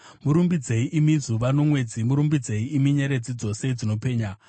Murumbidzei, imi zuva nomwedzi, murumbidzei, imi nyeredzi dzose dzinopenya.